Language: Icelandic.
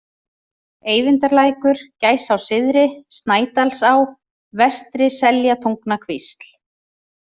Eyvindarlækur, Gæsá-syðri, Snædalsá, Vestri-Seljatungnakvísl